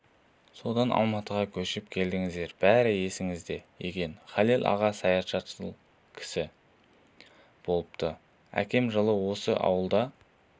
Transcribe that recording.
содан алматыға көшіп келдіңіздер бәрі есіңізде екен халел аға саятшыл кісі болыпты әкем жылы осы ауылда